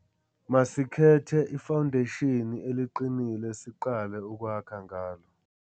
Masikhethe ifawundeshini eliqinile siqale ukwakha ngalo